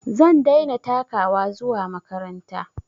Zan daina takawa zuwa makaranta